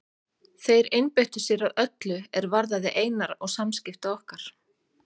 Þeir einbeittu sér að öllu er varðaði Einar og samskipti okkar.